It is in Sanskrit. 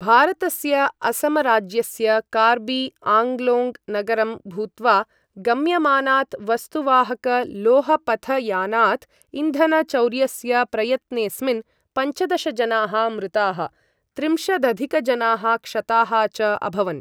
भारतस्य असम राज्यस्य कार्बी आङ्लोङ् नगरं भूत्वा गम्यमानात् वस्तुवाहक लोहपथयानात् इन्धनचौर्यस्य प्रयत्नेस्मिन् पञ्चदश जनाः मृताः, त्रिंशदधिकजनाः क्षताः च अभवन्।